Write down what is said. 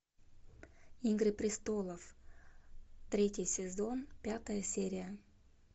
игры престолов третий сезон пятая серия